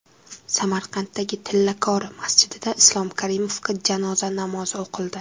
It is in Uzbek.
Samarqanddagi Tillakori masjidida Islom Karimovga janoza namozi o‘qildi.